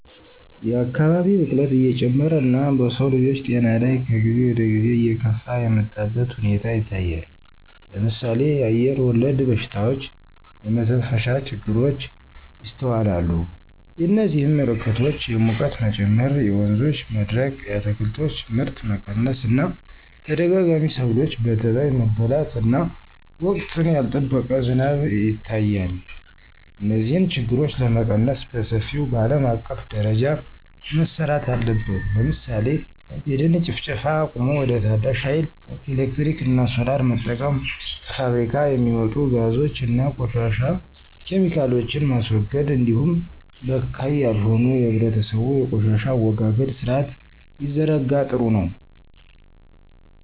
የአካባቢ ብክለት እየጨመረ እና በሰውልጆች ጤና ላይ ከጊዜ ወደጊዜ እየከፋ የመጣበት ሁኔታ ይታያል ለምሳሌ አየርወለድ በሽታዎች (የመተንፈሻ ችግሮች) ይስተዋላሉ የዚህም ምልክቶች የሙቀት መጨመር የወንዞች መድረቅ የአትክልቶች ምርት መቀነስ እና ተደጋጋሚ ሰብሎች በተባይ መበላት እና ወቅቱን ያልጠበቀ ዝናብ ይታያል። እነዚህን ችግሮች ለመቀነስ በሰፊው በአለም አቀፍ ደረጃ መረራት አለበት ለምሳሌ የደን ጭፍጨፋ አቁሞ ወደ ታዳሽ ሀይል ኤሌክትሪክ እና ሶላር መጠቀም። ከፋብሪካ የሚወጡ ጋዞች እና ቆሻሻ ኬሚካሎችን ማስወገድ እንዲሁም በካይ ያልሆነ የህብረተሰቡ የቆሻሻ አወጋገድ ስርአት ቢዘረጋ ጥሩ ነው።